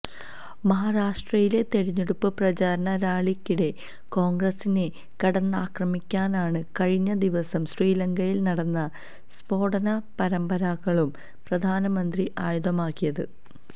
മഹാരാഷ്ട്രയിലെ തെരഞ്ഞെടുപ്പ് പ്രചാരണ റാലിക്കിടെ കോൺഗ്രസിനെ കടന്നാക്രമിക്കാനാണ് കഴിഞ്ഞ ദിവസം ശ്രീലങ്കയിൽ നടന്ന സ്ഫോടന പരമ്പരകളും പ്രധാനമന്ത്രി ആയുധമാക്കിയത്